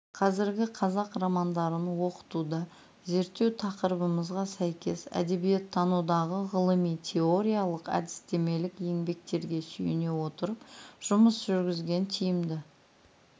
қазіргі қазақ романдарын оқытуда зерттеу тақырыбымызға сәйкес әдебиеттанудағы ғылыми-теориялық әдістемелік еңбектерге сүйене отырып жұмыс жүргізген тиімді